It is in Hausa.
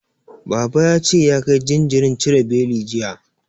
Baban ya ce ya kai jinjirin cire beli, jiya.